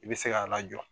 I bɛ se k'a lajɔ